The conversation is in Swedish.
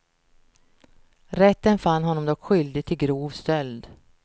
Rätten fann honom dock skyldig till grov stöld.